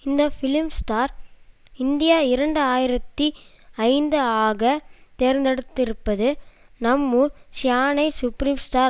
இந்த film star India இரண்டு ஆயிரத்தி ஐந்து ஆக தேர்ந்தெடுத்திருப்பது நம்மூர் சீயானை சுப்ரீம் ஸ்டார்